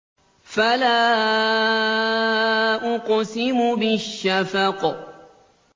فَلَا أُقْسِمُ بِالشَّفَقِ